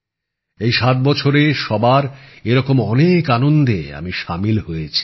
এই ৭ বছরে সবার এরকম অনেক আনন্দে আমি সামিল হয়েছি